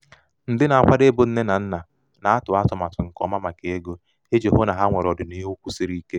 ndị na-akwado ịbụ nne na nna na-atụ atụmatụ nke ọma maka ego iji hụ na ha nwere ọdịniihu kwụsiri ike.